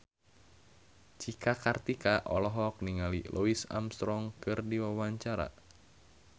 Cika Kartika olohok ningali Louis Armstrong keur diwawancara